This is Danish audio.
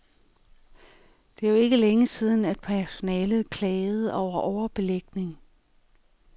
Det er jo ikke længe siden, at personalet klagede over overbelægning.